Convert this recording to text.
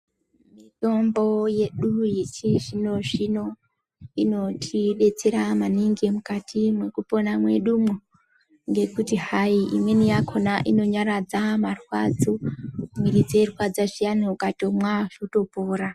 Mitombo yedu yechizvino-zvino inotidetsera maningi mukati mwekupona mwedumwo. Ngekuti hayi imweni yakona inonyaradza marwadzo, mwiiri dzeirwadza zviyani ukatomwa zvotopora.